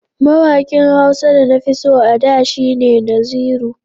Mawaƙin Hausa da nafi so a da shi ne Naziru.